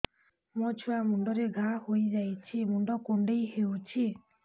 ମୋ ଛୁଆ ମୁଣ୍ଡରେ ଘାଆ ହୋଇଯାଇଛି ମୁଣ୍ଡ କୁଣ୍ଡେଇ ହେଉଛି